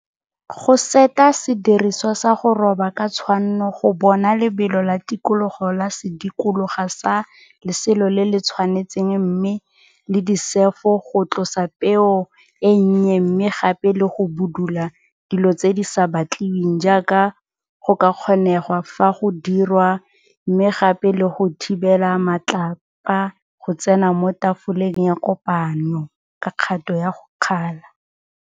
Go seta sediriswa sa go roba ka tshwanno go bona lebelo la tikologo la sedikologa sa leselo le le tshwanetseng mme le disefo go tlosa peo e nnye mme gape le go budula dilo tse di sa batliweng jaaka go ka kgonegwa fa go dirwa mme gape le go thibela matlapa go tsena mo tafoleng ya kopanyo ka kgato ya go kgala.